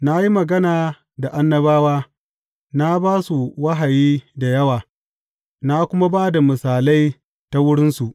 Na yi magana da annabawa, na ba su wahayi da yawa na kuma ba da misalai ta wurinsu.